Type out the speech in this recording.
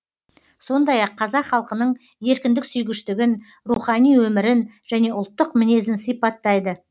сондай ақ қазақ халқының еркіндік сүйгіштігін рухани өмірін және ұлттық мінезін сипаттайды